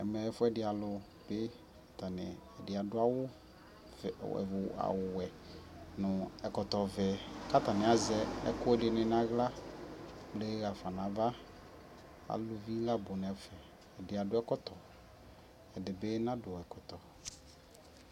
Ɛmɛ ɛfʋɛdɩalʋ bɩ atanɩ ɛdɩ adʋ awʋvɛ awʋwɛ nʋ ɛkɔtɔvɛ kʋ atanɩ azɛ ɛkʋɛdɩnɩ nʋ aɣla kple ɣa fa nʋ ava Aluvi nabʋ nʋ ɛfɛ Ɛdɩ adʋ ɛkɔtɔ ɛdɩ bɩ nadʋ ɛkɔtɔ